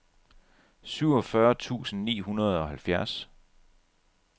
syvogfyrre tusind ni hundrede og halvfjerds